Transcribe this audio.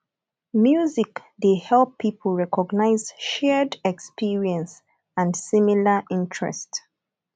music dey help people recognise shared experience and similar interest